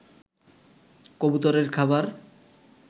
কবুতরের খাবার